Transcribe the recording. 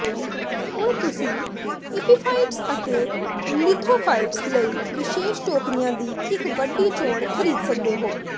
ਹੁਣ ਤੁਸੀਂ ਇਪਿਫਾਈਟਸ ਅਤੇ ਲਿਥੋਫਾਈਟਸ ਲਈ ਵਿਸ਼ੇਸ਼ ਟੋਕਰੀਆਂ ਦੀ ਇੱਕ ਵੱਡੀ ਚੋਣ ਖ਼ਰੀਦ ਸਕਦੇ ਹੋ